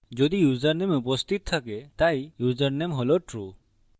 যদি ইউসারনেম উপস্থিত থাকে তাই ইউসারনেম হল true